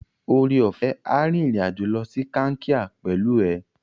Oreọ̀fẹ́ a rìnrìn-àjò lọ sí Kankia pẹ̀lú ẹ.